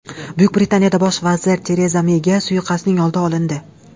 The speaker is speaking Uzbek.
Buyuk Britaniyada bosh vazir Tereza Meyga suiqasdning oldi olindi.